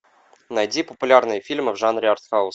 найди популярные фильмы в жанре артхаус